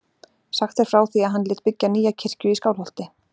Sagt er frá því að hann lét byggja nýja kirkju í Skálholti.